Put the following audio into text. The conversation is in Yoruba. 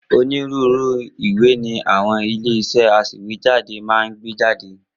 Onírúurú ìwé ni àwọn ilé-iṣẹ́ aṣèwéjádé máa ń gbé jáde.